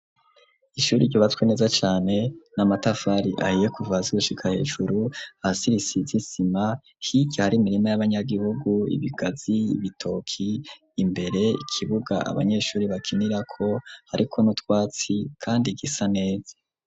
Ishure ryubatswe neza cane n'a matafari ahiye kuvahasi gushika hejuru hasize isima, hirya hari imirima y'abanyagihugu ibigazi ibitoki imbere ikibuga abanyeshure bakinira ko ariko nutwatsi kandi gisa neza.